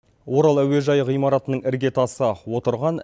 орал әуежайы ғимаратының іргетасы отырған